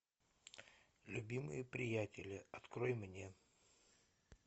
любимые приятели открой мне